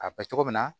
A bɛ cogo min na